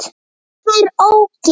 Hann var ógeð!